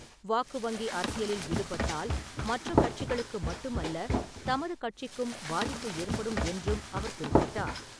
வாக்கு வங்கி அரசியலில் ஈடுபட்டால் மற்ற கட்சிகளுக்கு மட்டுமல்ல தமது கட்சிக்கும் பாதிப்பு ஏற்படும் என்றும் அவர் குறிப்பிட்டார்.